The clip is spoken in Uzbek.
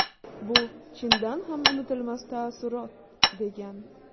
Bu chindan ham unutilmas taassurot”, degan.